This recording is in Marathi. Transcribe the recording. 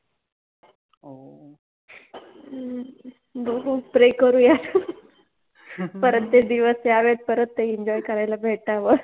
ह्म्म, बघु Pray करुयात, ह्म्म ह ह परत ते दिवस यावेत परत ते Enjoy करायला भेटाव